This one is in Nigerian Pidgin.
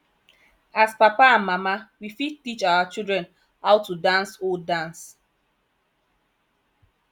as papa and mama we fit teach our children how to dance old dance